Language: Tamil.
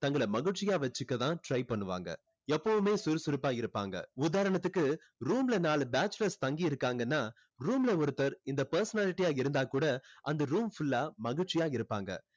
தங்களை மகிழ்ச்சியா வைச்சுக்க தான் try பண்ணுவாங்க எப்பவுமே சுறுசுறுப்பா இருப்பாங்க உதாரணத்துக்கு room ல நாலு bachelors தங்கி இருக்காங்கன்னா room ல ஒருத்தர் இந்த personality ஆ இருந்தா கூட அந்த room full ஆ மகிழ்ச்சியா இருப்பாங்க